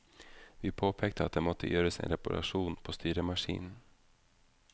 Vi påpekte at det måtte gjøres en reparasjon på styremaskinen.